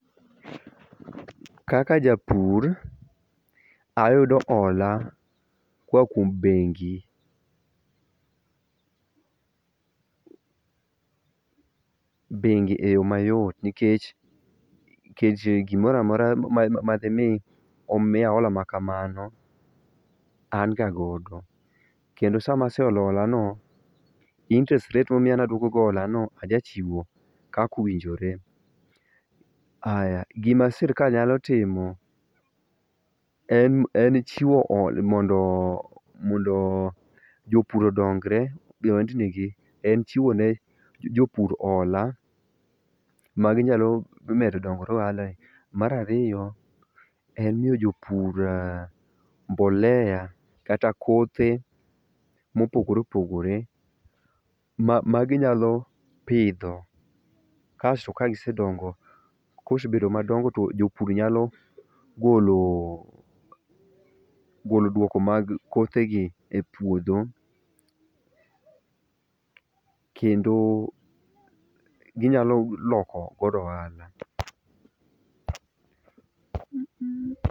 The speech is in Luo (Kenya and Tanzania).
Kaka japur ayudo hola koa kuom bengi, bengi e yoo mayot nikech kech gimoramora ma demi omiya hola ma kamano an ga godo. Kendo sama ase olo hola no interest rate momiya naduoko go hola no aja chiwo kaka owinjore. Aya gima sirikal nyalo timo en en chiwo mondo mondo jopur odongre e od ni en chiwo ne jopur hola ma ginyalo dongore ohala ni . Mar ariyo en miyo jopur mbolea kata kothe mopogore opogore ma ginyalo pidho kasto ka gisedongo kosbedo madongo to jopur nyalo golo golo duoko mag kothe gi e puodho kendo, ginyalo loko godo ohala